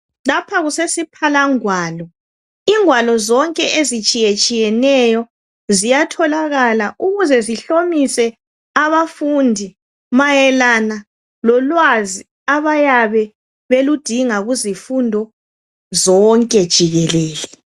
Lapha kusesiphalangwalo, ingwalo zonke ezitshiyetshiyeneyo ziyatholakala ukuze zihlomise abafundi, mayelana lolwazi abayabe beludinga kuzifundo zonke jikelele.